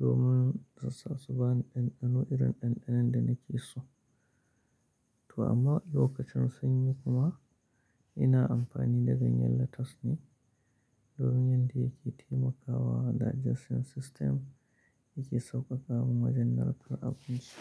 domin zaisa su bani ɗanɗano irin ɗanɗanon da nake so. To amma lokacin sanyi kuma ina amfani da ganyen lettuce ne domin yanda yake taimakawa digestion system yake sauƙaƙa min wajen narkar abinci.